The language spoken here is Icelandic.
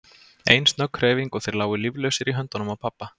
Ein snögg hreyfing og þeir lágu líflausir í höndunum á pabba.